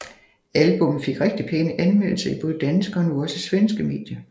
Albummet fik rigtigt pæne anmeldelser i både danske og nu også svenske medier